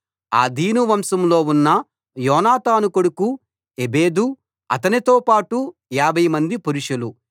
ఆదీను వంశంలో ఉన్న యోనాతాను కొడుకు ఎబెదు అతనితో పాటు 50 మంది పురుషులు